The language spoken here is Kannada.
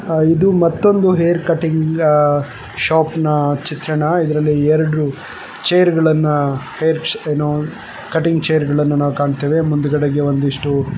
ಇದು ಮತ್ತೊಂದು ಹೇರ್ ಕಟಿಂಗ್ ಶಾಪ್ ನ ಚಿತ್ರಣ ಎರಡು ಚೇರ್ಗ ಳನ್ನ ಹೇರ್ ಕಟಿಂಗ್ ಚೇರ್ಗ ಳನ್ನ ನಾವು ಕಾಣ್ತೀವಿ ಮುಂದುವರೆದಿದೆ.